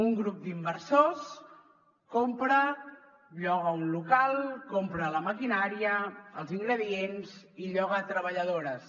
un grup d’inversors compra lloga un local compra la maquinària els ingredients i lloga treballadores